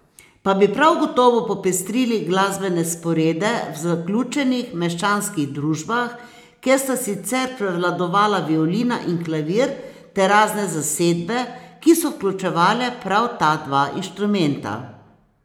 Pa bi prav gotovo popestrili glasbene sporede v zaključenih meščanskih družbah, kjer sta sicer prevladovala violina in klavir ter razne zasedbe, ki so vključevale prav ta dva inštrumenta.